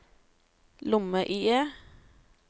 lomme-IE